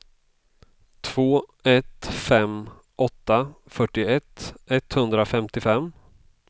två ett fem åtta fyrtioett etthundrafemtiofem